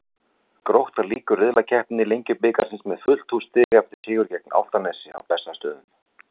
Grótta lýkur riðlakeppni Lengjubikarsins með fullt hús stiga eftir sigur gegn Álftanesi á Bessastöðum.